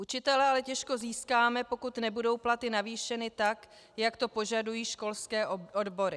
Učitele ale těžko získáme, pokud nebudou platy navýšeny tak, jak to požadují školské odbory.